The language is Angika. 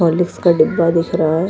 हॉर्लिक्स का डब्बा दिख रहा है।